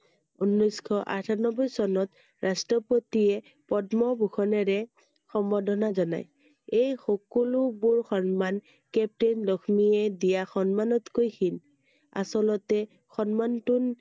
ঊনৈছ শ আঠানব্বৈ চনত ৰাষ্ট্ৰপতিয়ে পদ্মভূষণৰে সম্বৰ্ধনা জনায় iএই সকলোবোৰ সন্মান captain লক্ষ্মীয়ে দিয়া সন্মানতকৈ শিল আচলতে সন্মান